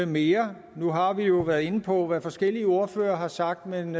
mere nu har vi jo været inde på hvad forskellige ordførere har sagt men